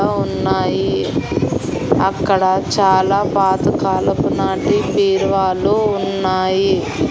ఉన్నాయి అక్కడ చాలా పాతకాలపు నాటి బీరువాలు ఉన్నాయి.